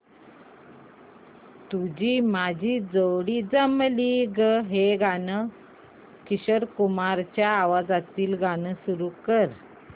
तुझी माझी जोडी जमली गं हे किशोर कुमारांच्या आवाजातील गाणं सुरू कर